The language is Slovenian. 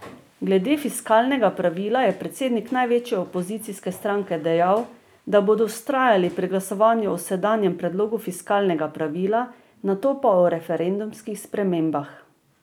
Glede fiskalnega pravila je predsednik največje opozicijske stranke dejal, da bodo vztrajali pri glasovanju o sedanjem predlogu fiskalnega pravila, nato pa o referendumskih spremembah.